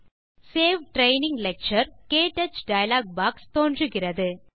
save training lecture - க்டச் dialogue box தோன்றுகிறது